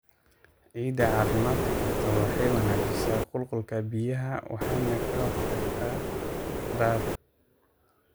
Ciidda caafimaadka qabta waxay wanaajisaa qulqulka biyaha waxayna ka hortagtaa daad.